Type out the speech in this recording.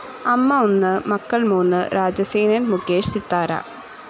അമ്മ ഒന്ന്, മക്കൾ മൂന്ന് രാജസേനൻ മുകേഷ്, സിത്താര